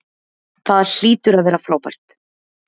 Það hlýtur að vera frábært.